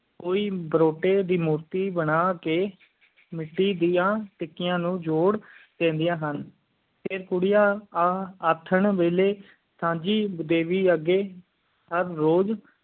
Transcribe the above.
ਕੋਈ ਬਰੋਟੀ ਦੀ ਮੂਤੀ ਬਣਾ ਕ ਮਿੱਟੀ ਦੀਆਂ ਟਿੱਕੀਆਂ ਨੂੰ ਜੋੜ ਦਿੰਦਿਆਂ ਹਨ ਫੇਰ ਕੁੜੀਆਂ ਆ ਆਥਣ ਵੈਲੀ ਸਾਂਝੀ ਦੇਵੀ ਅਗੈ ਹਰ ਰੂਜ਼